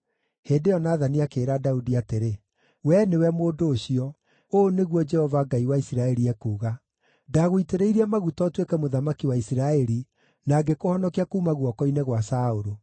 Hĩndĩ ĩyo Nathani akĩĩra Daudi atĩrĩ, “Wee nĩwe mũndũ ũcio! Ũũ nĩguo Jehova, Ngai wa Isiraeli, ekuuga: ‘Ndagũitĩrĩirie maguta ũtuĩke mũthamaki wa Isiraeli, na ngĩkũhonokia kuuma guoko-inĩ gwa Saũlũ.